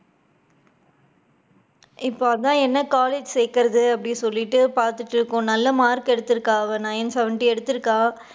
இப்ப அதுதான் என்ன college சேக்குறது, அப்படி சொல்லிட்டு பாத்துட்டு இருக்கோம் நல்ல mark கு எடுத்து இருக்கா அவ nine seventy எடுத்துருக்கா,